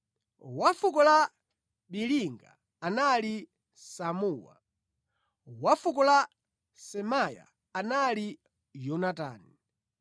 wa fuko la Biliga anali Samuwa; wa fuko la Semaya anali Yonatani;